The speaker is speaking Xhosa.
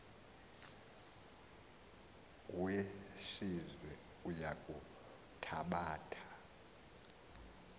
wesizwe uya kuthabatha